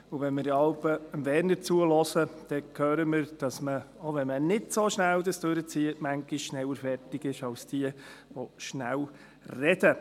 Wenn wir jeweils Werner Moser zuhören, hören wir, dass man, auch wenn man es nicht so schnell durchzieht, manchmal schneller fertig ist als jene, die schnell sprechen.